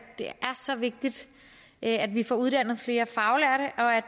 det er så vigtigt at vi får uddannet flere faglærte og at